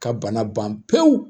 Ka bana ban pewu